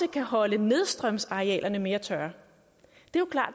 kan holde nedstrømsarealerne mere tørre